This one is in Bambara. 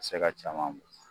se ka caman